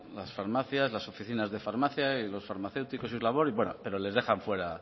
las farmacias las oficinas de farmacia y los farmacéuticos y su labor pero les dejan fuera